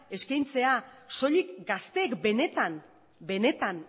eskaintzea soilik gazteek benetan benetan